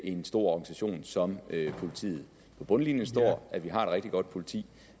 i en stor organisation som politiet på bundlinjen står at vi har et rigtig godt politi